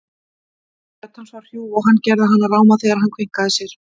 Rödd hans var hrjúf og hann gerði hana ráma þegar hann kveinkaði sér.